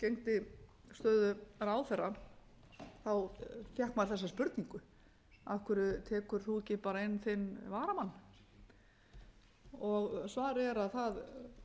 gegndi stöðu ráðherra fékk maður þessa spurningu af hverju tekur þú ekki inn þinn varamann svarið er að